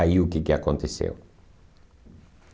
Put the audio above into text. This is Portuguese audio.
Aí o que que aconteceu?